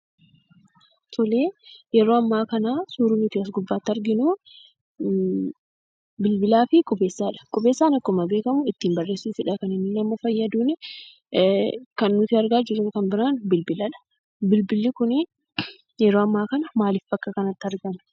Yeroo ammaa kana suurri as gubbaatti arginu bilbilaa fi qubeessaadha. Qubeessaan akkuma beekamu ittiin barreessuufidha kan inni nama fayyadu. Kan nuti argaa jirru kan biraan bilbiladha. Bilbilli kun yeroo ammaa kana maaliif bakka kanatti argame?